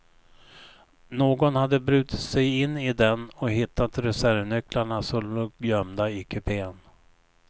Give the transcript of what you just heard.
Någon hade brutit sig in i den och hittat reservnycklarna som låg gömda i kupén.